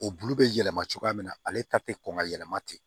O bulu bɛ yɛlɛma cogoya min na ale ta tɛ kɔn ka yɛlɛma ten